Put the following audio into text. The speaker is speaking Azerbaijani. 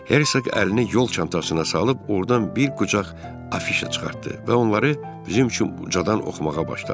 Hersoq əlini yol çantasına salıb ordan bir qucaq afişa çıxartdı və onları bizim üçün ucadan oxumağa başladı.